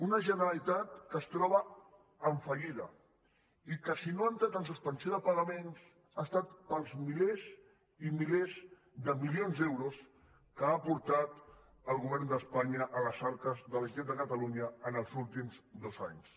una generalitat que està en fallida i que si no ha entrat en suspensió de pagaments ha estat pels milers i milers de milions d’euros que ha aportat el govern d’espanya a les arques de la generalitat de catalunya en els últims dos anys